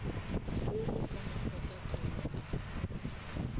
wo o fa makgotlataolo a